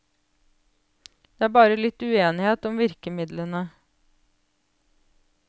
Det er bare litt uenighet om virkemidlene.